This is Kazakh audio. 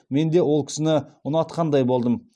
менде ол кісіні ұнатқандай болдым